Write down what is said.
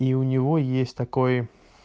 и у него есть такой